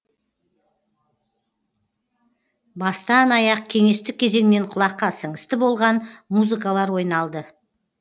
бастан аяқ кеңестік кезеңнен құлаққа сіңісті болған музыкалар ойналды